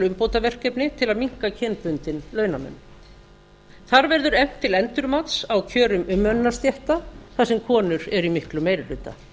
umbótaverkefni til að minnka kynbundinn launamun þar verður efnt til endurmats á kjörum umönnunarstétta þar sem konur eru í miklum meiri hluta